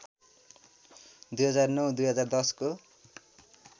२००९ २०१० को